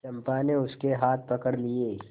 चंपा ने उसके हाथ पकड़ लिए